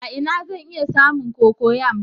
A ina zan iya samun cocoyam?